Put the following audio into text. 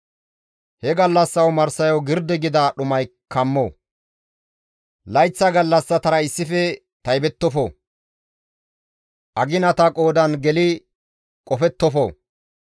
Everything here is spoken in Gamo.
He gallassa omarsayo girdi gida dhumay kammo; layththa gallassatara issife taybettofo; aginata qoodan geli qofettofo.